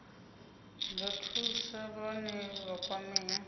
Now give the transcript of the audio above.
nga thusa vhane vha kwamea